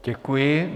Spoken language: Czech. Děkuji.